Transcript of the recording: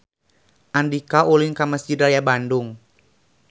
Andika ulin ka Mesjid Raya Bandung